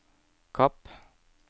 Kapp